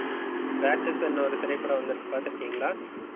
ராட்சசன்னு ஒரு திரைப்படம் வந்திருக்கு பாத்திருக்கீங்களா?